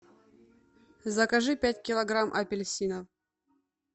закажи пять килограмм апельсинов